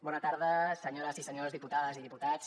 bona tarda senyores i senyors diputades i diputats